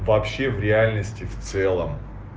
вообще в реальности в целом